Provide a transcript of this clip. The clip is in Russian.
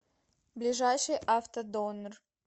ближайший автодонор